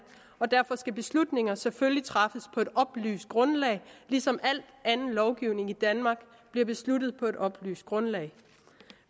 og derfor skal beslutninger selvfølgelig træffes på et oplyst grundlag ligesom al anden lovgivning i danmark bliver besluttet på et oplyst grundlag